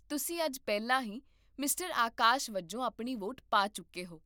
ਤੁਸੀਂ ਅੱਜ ਪਹਿਲਾਂ ਹੀ ਮਿਸਟਰ ਆਕਾਸ਼ ਵਜੋਂ ਆਪਣੀ ਵੋਟ ਪਾ ਚੁੱਕੇ ਹੋ